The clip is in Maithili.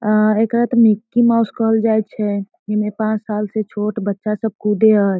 अअ एकरा त मिक्की माउस कहल जाय छे इमे पाँच साल से छोट बच्चा सब कूदे हय।